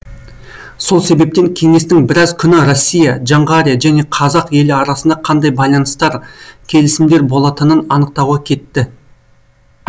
сол себептен кеңестің біраз күні россия жоңғария жөне қазақ елі арасында қандай байланыстар келісімдер болатынын анықтауға кетті